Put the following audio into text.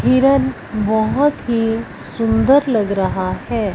हिरण बहोत ही सुंदर लग रहा है।